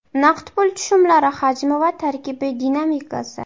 Naqd pul tushumlari hajmi va tarkibi dinamikasi.